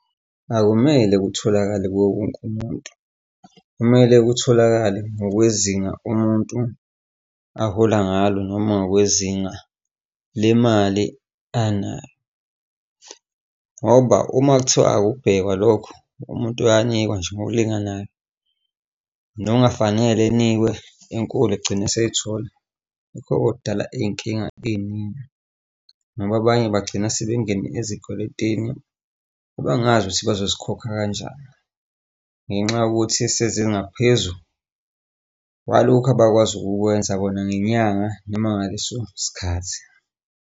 Akumele kutholakale kuwo wonke umuntu, kumele kutholakale ngokwezinga umuntu ahola ngalo noma ngokwezinga le mali anayo. Ngoba uma kuthiwa akubhekwa lokhu, umuntu uyanikwa nje ngokulinganayo nongafanele enikwe enkulu egcine eseyithola, lokho okudala iy'nkinga ey'ningi, ngoba abanye bagcina sebengene ezikweletini abangazi ukuthi bazozikhokha kanjani ngenxa yokuthi eseze ngaphezu kwalokhu abakwazi ukukwenza bona ngenyanga noma ngaleso sikhathi.